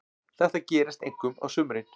Þetta gerist einkum á sumrin.